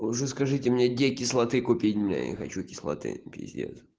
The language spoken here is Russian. уже скажите мне где кислоты купить блять хочу кислоты пиздец